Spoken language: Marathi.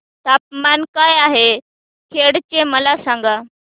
तापमान काय आहे खेड चे मला सांगा